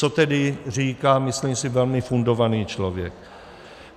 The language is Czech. Co tedy říká, myslím si, velmi fundovaný člověk?